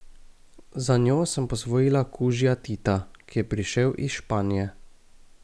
Za njo sem posvojila kužija Tita, ki je prišel iz Španije.